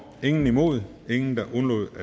eller imod